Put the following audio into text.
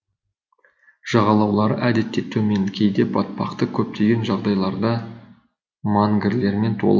жағалаулары әдетте төмен кейде батпақты көптеген жағдайларда мангрлермен толы